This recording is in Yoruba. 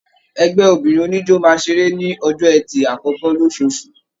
Ẹgbẹ obìnrin oníjó máa seré ní ọjọ ẹtì akọkọ losoosu.